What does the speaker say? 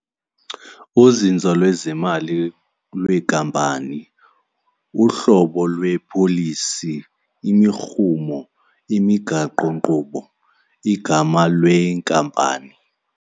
Uzinzo lwezemali lweekampani, uhlobo lweepolisi, imirhumo, imigaqonkqubo, igama lweenkampani.